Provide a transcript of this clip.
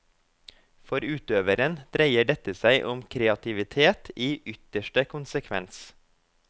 For utøveren dreier dette seg om kreativitet i ytterste konsekvens.